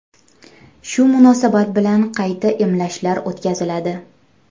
Shu munosabat bilan qayta emlashlar o‘tkaziladi.